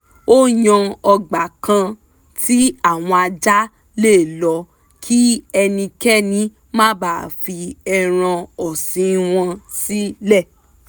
ó yan ọgbà kan tí àwọn ajá lè lọ kí ẹnikẹ́ni má bàa fi ẹran ọ̀sìn wọn sílẹ̀